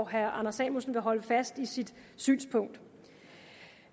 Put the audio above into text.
herre anders samuelsen vil holde fast i sit synspunkt